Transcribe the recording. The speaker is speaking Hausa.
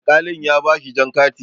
Alkali ɗin ya bashi jan kati.